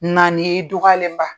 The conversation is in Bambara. Naani ye. I dugɔyalenba.